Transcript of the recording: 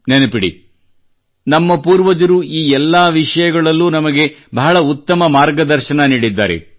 ನೆನಪಿಡಿ ನಮ್ಮ ಪೂರ್ವಜರು ಈ ಎಲ್ಲಾ ವಿಷಯಗಳಲ್ಲೂ ನಮಗೆ ಬಹಳ ಉತ್ತಮ ಮಾರ್ಗದರ್ಶನ ನೀಡಿದ್ದಾರೆ